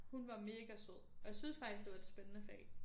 Hun var mega sød og jeg synes faktisk det var et spændende fag